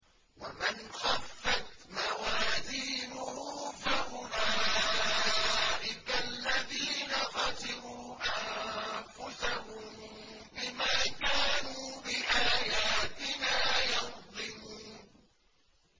وَمَنْ خَفَّتْ مَوَازِينُهُ فَأُولَٰئِكَ الَّذِينَ خَسِرُوا أَنفُسَهُم بِمَا كَانُوا بِآيَاتِنَا يَظْلِمُونَ